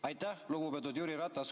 Aitäh, lugupeetud Jüri Ratas!